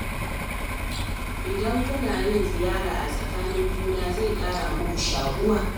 Idan kuna yin ziyara a tsakanin juna, zai ƙara muku shaƙuwa.